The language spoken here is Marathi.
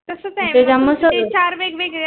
ते जा मा तस